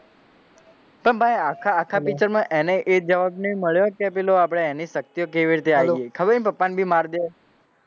પણ ભાઈ આખા picture માં એજ જવાબ મળ્યો કે પેલો આપણે એની શક્તિઓ કેવી રીતે આયી ગઈ ખબર એનાં પપ્પાને બી માર દે,